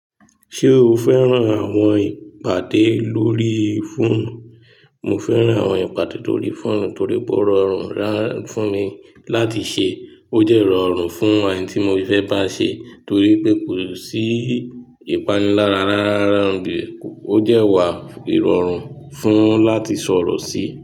Ṣé o fẹ́ràn àwọn ìpàdé lórí fóònù? Mo fẹ́ràn àwọn ìpàdé lórí fóònù torí pé ó rọrùn fún mi láti ṣe, ó jẹ́ rọrùn fún ẹni tí mo fẹ́ bá ṣe torí pé kò sí ìpanilára rárá, o dẹ́ wà írọrùn fún, láti sọ̀rọ̀ sí.